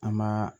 An ma